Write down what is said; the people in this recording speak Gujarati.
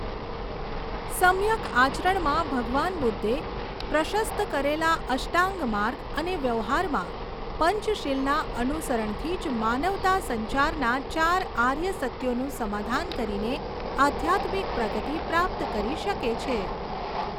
સમ્યક આચરણમાં ભગવાન બુદ્ધે પ્રશસ્ત કરેલા અષ્ટાંગ માર્ગ અને વ્યવહારમાં પંચશીલના અનુસરણથી જ માનવતા સંસારના ચાર આર્ય સત્યોનું સમાધાન કરીને આધ્યાત્મિક પ્રગતિ પ્રાપ્ત કરી શકે છે.